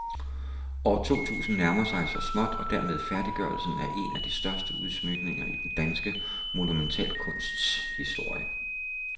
År to tusind nærmer sig så småt og dermed færdiggørelsen af en af de største udsmykninger i den danske monumentalkunsts historie.